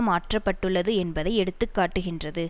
மாற்ற பட்டுள்ளது என்பதை எடுத்து காட்டுகின்றது